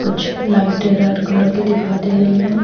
कुछ लाइटें red colour की दिखाई दे रही हैं।